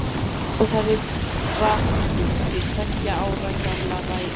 Ráðherra flutti tveggja ára gamla ræðu